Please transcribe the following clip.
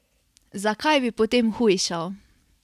Zakaj bi potem hujšal?